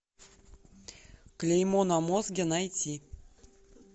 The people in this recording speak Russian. клеймо на мозге найти